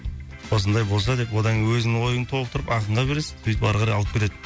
осындай болса деп одан кейін өзінің ойын толықтырып ақынға бересің сөйтіп ары қарай алып кетеді